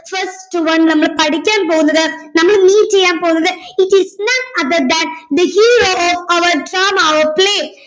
first one നമ്മൾ പഠിക്കാൻ പോന്നത് നമ്മൾ ഇനി ചെയ്യാൻ പോന്നത് it is none other than the hero of our drama or play